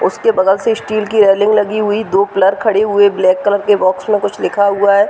उसके बगल से स्टिल की रेलिंग लगी हुई दो पिलर खड़े हुए है ब्लैक कलर के बॉक्स में कुछ लिखा हुआ है।